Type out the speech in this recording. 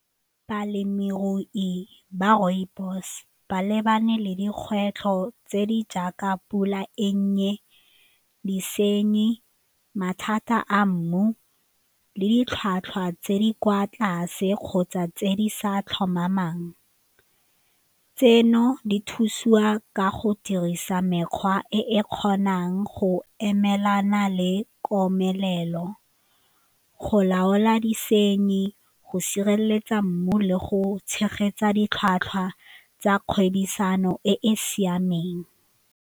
Balemirui ba rooibos ba lebane le dikgwetlho tse di jaaka pula e nnye disenyi, mathata a mmu le ditlhwatlhwa tse di kwa tlase kgotsa tse di sa tlhomamang. Tseno di thusiwa ka go dirisa mekgwa e e kgonang go emelana le komelelo, go laola disenyi, go sireletsa mmu le go tshegetsa ditlhwatlhwa tsa kgwebisano e e siameng.